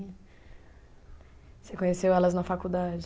Você conheceu elas na faculdade?